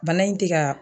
Bana in tɛ ka